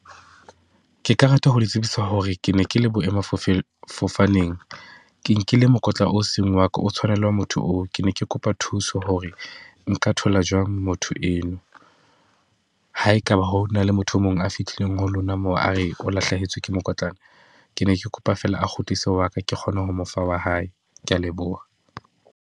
Ke ka rata ho le tsebisa hore ke ne ke le boema fofaneng ke nkile mokotla o seng wa ka o tshwanelwa motho oo. Ke ne ke kopa thuso hore nka thola jwang motho eo eno. Ha e ka ba ho na le motho e mong a fitileng ho lona moo, a re o lahlehetswe ke mokotlana. Ke ne ke kopa feela a kgutlise wa ka ke kgone ho mo fa wa hae. Ke ya leboha.